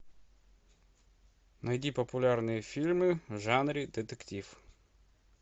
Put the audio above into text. найди популярные фильмы в жанре детектив